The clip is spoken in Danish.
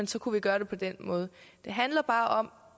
så kunne vi gøre det på den måde det handler bare om